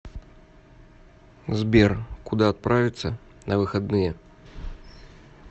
сбер куда отправится на выходные